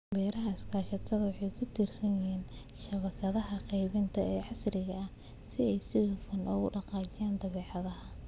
Beeraha iskaashatada waxay ku tiirsan yihiin shabakadaha qaybinta ee casriga ah si ay si hufan ugu dhaqaajiyaan badeecadaha.